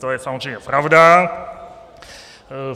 To je samozřejmě pravda.